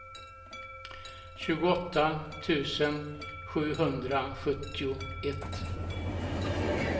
tjugoåtta tusen sjuhundrasjuttioett